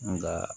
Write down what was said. Nga